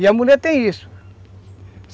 E a mulher tem isso.